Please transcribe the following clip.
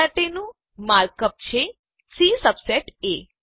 આ માટેનું mark up છે સી સબસેટ એ